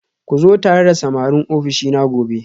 Ku zo tare da samarin ofishina gobe